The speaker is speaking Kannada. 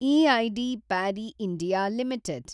EID Parry (India) limited